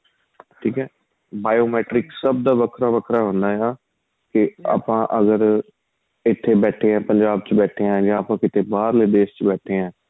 ਠੀਕ ਏ bio matrix ਸਭ ਦਾ ਵੱਖਰਾ ਵੱਖਰਾ ਹੁੰਦਾ ਏ ਹੈਨਾ ਕੇ ਆਪਾਂ ਅਗਰ ਇਥੇ ਬੈਠੇ ਹਾਂ ਪੰਜਾਬ ਚ ਬੈਠੇ ਹਾਂ ਜਾਂ ਆਪਾਂ ਕਿਥੇ ਬਹਾਰਲੇ ਦੇਸ਼ ਵਿੱਚ ਬੈਠੇ ਹਾਂ